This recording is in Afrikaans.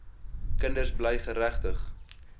kinders bly geregtig